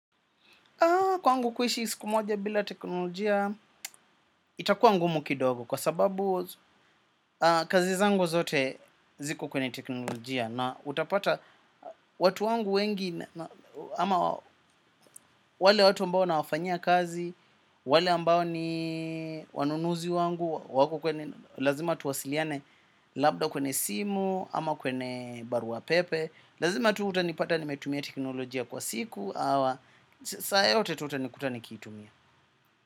Kwangu kuishi siku moja bila teknolojia itakuwa ngumu kidogo kwa sababu kazi zangu zote ziko kwenye teknolojia na utapata watu wangu wengi ama wale watu ambao nawafanyia kazi, wale ambao ni wanunuzi wangu, wako kwenye, lazima tuwasiliane labda kwenye simu ama kwenye barua pepe, lazima tu utanipata nimetumia teknolojia kwa siku, hawa saa yote tu utanikuta nikitumia.